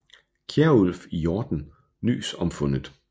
Kjerulf i Horten nys om fundet